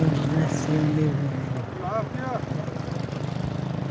Onde nasceu o meu irmão. Ah tá